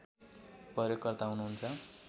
प्रयोगकर्ता हुनुहुन्छ